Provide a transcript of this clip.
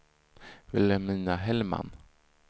Vilhelmina Hellman